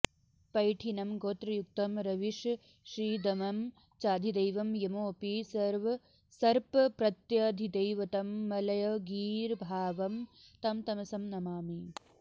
पैठीनं गोत्रयुक्तं रविशशीदमनं चाधिदैवं यमोऽपि सर्पप्रत्यधिदैवतं मलयगीर्भावं तं तमसं नमामि